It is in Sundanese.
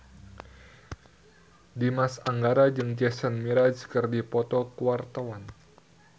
Dimas Anggara jeung Jason Mraz keur dipoto ku wartawan